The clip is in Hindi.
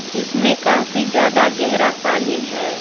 जिसमें काफी ज्यादा गहरा पानी है।